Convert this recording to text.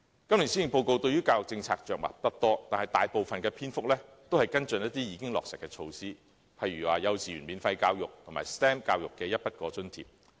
今年的施政報告對於教育政策着墨不多，但是，大部分的篇幅均是跟進一些已經落實的措施，例如幼稚園免費教育及 STEM 教育的一筆過津貼。